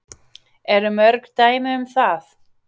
Eru mörg dæmi um það?